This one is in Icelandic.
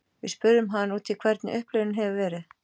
Við spurðum hann út í hvernig upplifunin hefur verið.